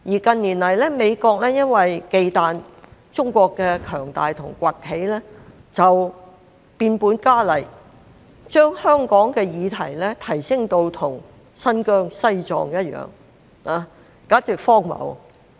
近年來，美國因為忌憚中國的強大和崛起而變本加厲，將香港的議題提升到與新疆、西藏一樣，簡直荒謬。